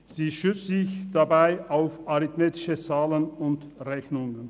Sie stützt sich dabei auf arithmetische Zahlen und Rechnungen.